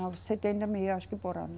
Não, setenta mil acho que é por ano.